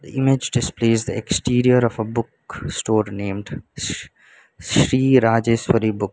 the image displays the exterior of a book store named sh sri rajeswari book.